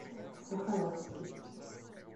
сахаровский